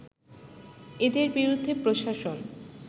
এদের বিরুদ্ধে প্রশাসন